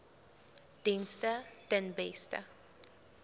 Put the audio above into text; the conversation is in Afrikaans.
dienste ten beste